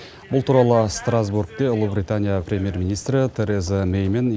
бұл туралы страстбургте ұлыбритания премьер министрі тереза мэй мен